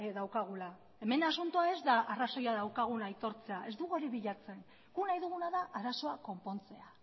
daukagula hemen asuntoa ez da arrazoia daukagun aitortzea ez dugu hori bilatzen gu nahi duguna da arazoa konpontzea